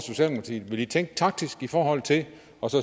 vil i tænke taktisk i forhold til det og